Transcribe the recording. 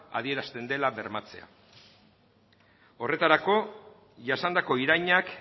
adierazten dela bermatzea horretarako jasandako irainak